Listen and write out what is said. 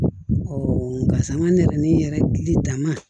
nka sa n ka nɛrɛmin yɛrɛ dama